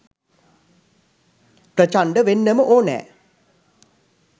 ප්‍රචණ්ඩ වෙන්නම ඕනැ.